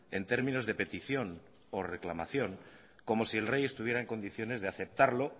en términos de petición o reclamación como si el rey estuviera en condiciones de aceptarlo